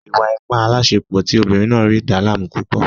Ìwà-ipá aláàsepọ̀ tí ọmọbìnrin náà rí dàá láàmú púpọ̀